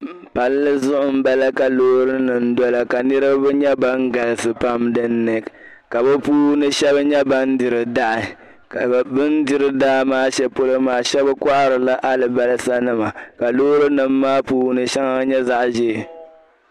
Palli zuɣu m-bala ka loorinima n dola ka niriba nyɛ ban galisi pam dinni ka bɛ puuni shɛba nyɛ ban diri dahi ka bɛn diri daa maa shɛli polo maa shɛba kohiri la alibalisanima ka loorinim maa puuni shɛŋa nyɛ zaɣ'zeei